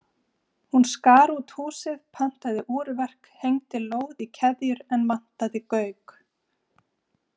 Hún skar út húsið, pantaði úrverk, hengdi lóð í keðjur en vantaði gauk.